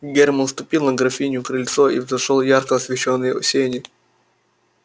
германн ступил на графинино крыльцо и взошёл в ярко освещённые сени